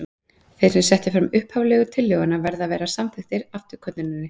Þeir sem settu fram upphaflegu tillöguna verða að vera samþykkir afturkölluninni.